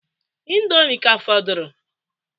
Indomie ka fọdụrụ?